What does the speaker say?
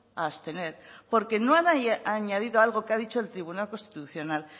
a abstener porque no han añadido algo que ha dicho el tribunal constitucional